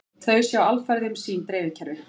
Þau sjái alfarið um sín dreifikerfi